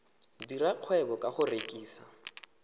dira kgwebo ka go rekisa